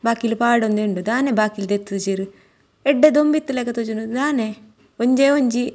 ಬಾಕಿಲ್ ಪಾಡೊಂದೆ ಉಂಡು ದಾನೆ ಬಾಕಿಲ್ ದೆತ್ತಿಜೆರ್ ಎಡ್ಡೆ ದೊಂಬು ಇತ್ತಿಲೆಕ ತೋಜುಂಡು ದಾನೆ ಒಂಜೇ ಒಂಜಿ.